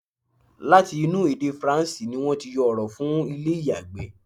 Láti inú èdè faransé ni wọ́n ti yọ ọ̀rọ̀ fún ilé ìyàgbẹ́.